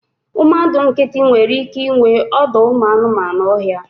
Mmadụ nkịtị nwere ike inwe ọdọụmụanụọhịa